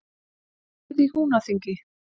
Hópið í Húnaþingi.